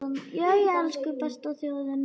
Jæja, elsku besta þjóðin mín!